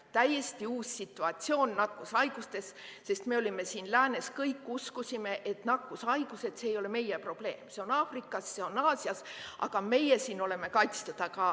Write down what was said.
Täiesti uus situatsioon nakkushaigustes, sest me siin Läänes kõik uskusime, et nakkushaigused ei ole meie probleem, need on Aafrikas ja Aasias, aga meie siin oleme kaitstud.